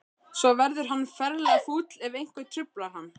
Svo verður hann ferlega fúll ef einhver truflar hann.